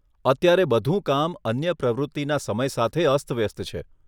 અત્યારે બધું કામ અન્ય પ્રવૃત્તિના સમય સાથે અસ્તવ્યસ્ત છે.